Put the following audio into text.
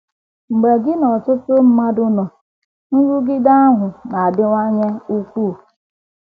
Mgbe gị na ọtụtụ mmadụ nọ, nrụgide ahụ na - adịwanye ukwuu.